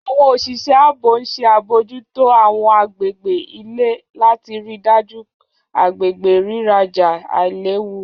Àwọn oṣiṣẹ aabo n ṣe abojuto àwọn agbegbe ile lati rii daju agbegbe riraja ailewu.